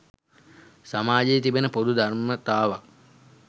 සමාජයේ තිබෙන පොදු ධර්මතාවක්.